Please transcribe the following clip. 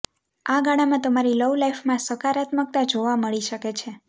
આ ગાળામાં તમારી લવ લાઈફમાં સકારાત્મકતા જોવા મળી શકે છે